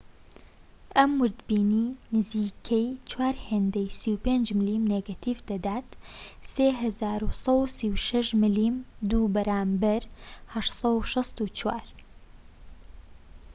ئەمە ووردبینی نزیکەی چوار هێندەی 35 ملم نێگەتیڤ دەدات 3136 ملم2 بەرامبەر 864